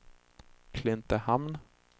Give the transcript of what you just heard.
Klintehamn